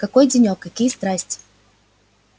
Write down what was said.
какой денёк какие страсти